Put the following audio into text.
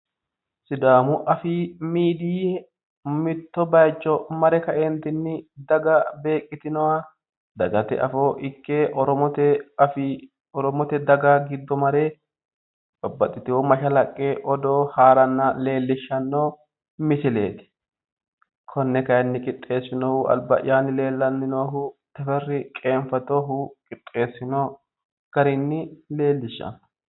Sidaamu afiini daga Oromote daga gamba ytinowa Odoo odeessanni noo garati, konne qixxeesinohu albaa'yanni noohu Teferra Qeenfatoho.